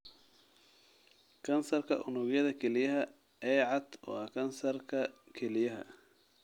Kansarka unugyada kelyaha ee cad waa kansarka kelyaha.